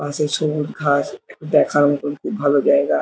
পাশে সবুজ ঘাস দেখার মতন খুব ভালো জায়গা।